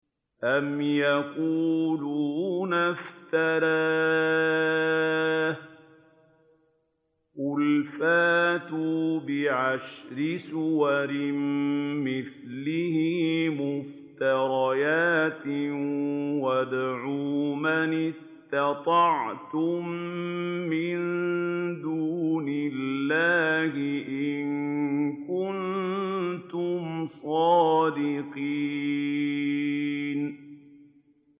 أَمْ يَقُولُونَ افْتَرَاهُ ۖ قُلْ فَأْتُوا بِعَشْرِ سُوَرٍ مِّثْلِهِ مُفْتَرَيَاتٍ وَادْعُوا مَنِ اسْتَطَعْتُم مِّن دُونِ اللَّهِ إِن كُنتُمْ صَادِقِينَ